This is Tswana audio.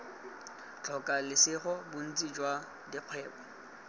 tlhoka lesego bontsi jwa dikgwebo